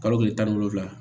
Kalo tile tan ni wolonvila